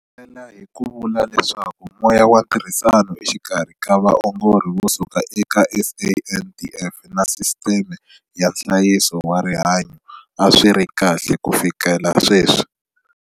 Engetela hi ku vula leswaku moya wa ntirhisano exikarhi ka vaongori vo suka eka SANDF na sisiteme ya nhlayiso wa rihanyu a swi ri kahle kufikela sweswi.